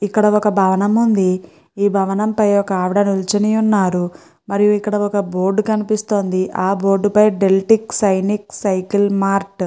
ఇక్కడ ఒక భవనం వుంది. ఈ భవనం పై ఒక ఆవిడా నిలుచొని వున్నారు. మరియు ఇక్కడ ఒక బోర్డు కనిపిస్తుంది. ఆ బోర్డు పై డెలిటిక్స్ సిన్సైక్ సైకిల్ మార్ట్ --